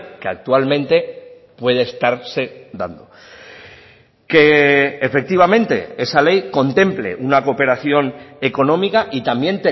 que actualmente puede estarse dando que efectivamente esa ley contemple una cooperación económica y también